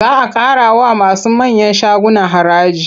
Za a ƙarawa masu manyan shaguna haraji.